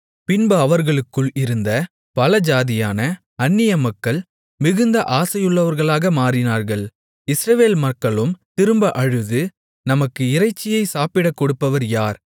பின்பு அவர்களுக்குள் இருந்த பல ஜாதியான அந்நிய மக்கள் மிகுந்த ஆசையுள்ளவர்களாக மாறினார்கள் இஸ்ரவேல் மக்களும் திரும்ப அழுது நமக்கு இறைச்சியை சாப்பிடக்கொடுப்பவர் யார்